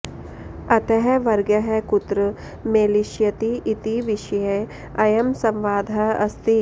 अतः वर्गः कुत्र मेलिष्यति इति विषये अयं संवादः अस्ति